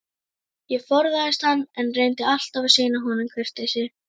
Ég forðaðist hann, en reyndi alltaf að sýna honum kurteisi.